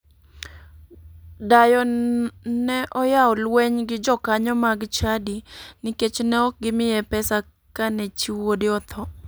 Dayo ne oyawo luweny gi jokanyo mag chadi nikech ne ok gimiye pesa kane chi wuode otho.